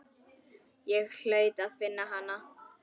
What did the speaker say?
Ég hlaut að finna hana.